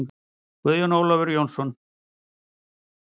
Guðjón Ólafur Jónsson